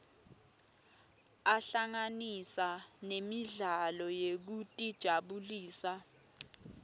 ahlanganisa nemidlalo yekutijabulisa